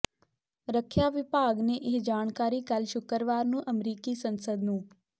ਰੱਖਿਆ ਵਿਭਾਗ ਨੇ ਇਹ ਜਾਣਕਾਰੀ ਕੱਲ੍ਹ ਸ਼ੁੱਕਰਵਾਰ ਨੂੰ ਅਮਰੀਕੀ ਸੰਸਦ ਨੂੰ